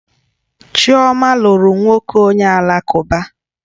Chioma lụrụ nwoke onye Alakụba